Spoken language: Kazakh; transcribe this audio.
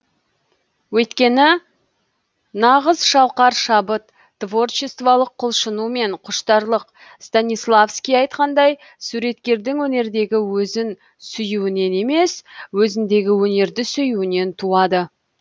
өйткені нағызшалқар шабыт творчестволық құлшыну мен құштарлық станиславский айтқандай суреткердің өнердегі өзін сүюінен емес өзіндегі өнерді сүюінен туады